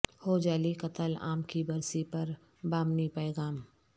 Khojaly قتل عام کی برسی پر با معنی پیغام